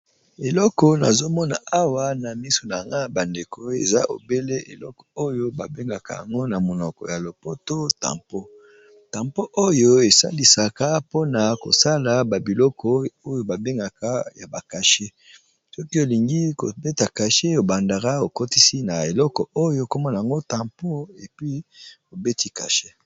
Eloko nazomona awa na misu na nga bandeko eza obele eloko oyo babengaka yango na monoko ya lopoto tampo tampo oyo esalisaka mpona kosala babiloko oyo babengaka ya bakashe soki olingi kobeta kashe ebandaka okotisi na eleko oyo komona ngo tempo epi obeti kashe.